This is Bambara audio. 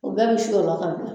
O bɛɛ bi su ola